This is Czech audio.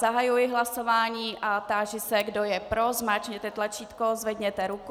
Zahajuji hlasování a táži se, kdo je pro, zmáčkněte tlačítko, zvedněte ruku.